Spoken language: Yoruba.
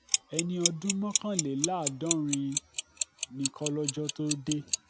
ẹni ọdún mọ́kànléláàádọ́rin ni kọ́lọ́jọ́ tóo dé